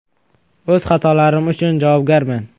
“O‘z xatolarim uchun javobgarman”.